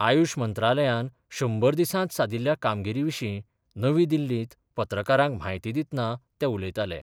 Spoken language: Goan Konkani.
आयुश मंत्रालयान शंबर दिसात सादिल्ल्या कामगिरी विशी नवी दिल्लीत पत्रकारांक म्हायती दितना ते उलयताले.